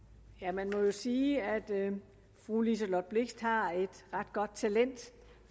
man må jo sige at fru liselott blixt har et ret godt talent